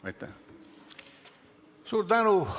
Suur tänu!